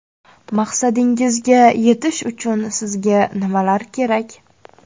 Maqsadingizga yetish uchun sizga nimalar kerak?